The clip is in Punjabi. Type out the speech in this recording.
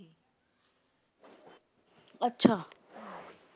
ਅੱਛਾ